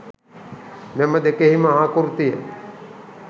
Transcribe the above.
මෙම දෙකෙහිම ආකෘතිය